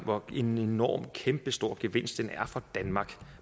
hvor enorm og kæmpestor en gevinst den er for danmark